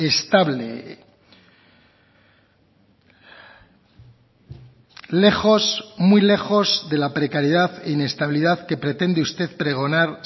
estable lejos muy lejos de la precariedad e inestabilidad que pretende usted pregonar